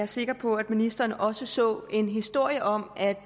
sikker på at ministeren også så en historie om at